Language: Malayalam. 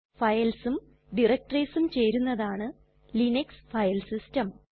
Filesഉം directoriesഉം ചേരുന്നതാണ് ലിനക്സ് ഫൈൽ സിസ്റ്റം